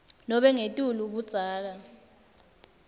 nobe ngetulu budzala